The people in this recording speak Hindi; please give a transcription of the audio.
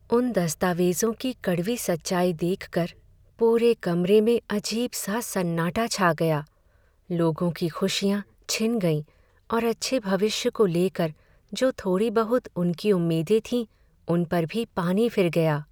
उन दस्तावेज़ों की कड़वी सच्चाई देखकर पूरे कमरे में अजीब सा सन्नाटा छा गया, लोगों की खुशियां छिन गईं और अच्छे भविष्य को लेकर जो थोड़ी बहुत उनकी उम्मीदें थीं उन पर भी पानी फिर गया।